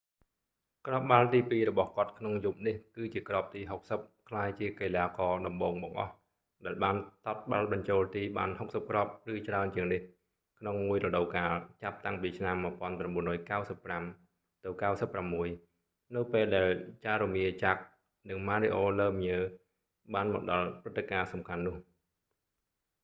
គ្រាប់បាល់ទីពីររបស់គាត់ក្នុងយប់នេះគឺជាគ្រាប់ទី60 ក្លាយជាកីឡាករតំបូងបង្អស់ដែលបានទាត់បាល់បញ្ចូលទី​បាន 60គ្រាប់​ឬច្រើនជាងនេះក្នុងមួយរដូវកាល ចាប់តាំងពីឆ្នាំ​1995-96 នៅពេលដែល jaromir jagr និង mario lemieux បានមកដល់ព្រឹត្ដការណ៍សំខាន់នោះ។